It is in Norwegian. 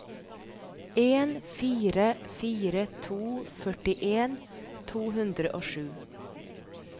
en fire fire to førtien to hundre og sju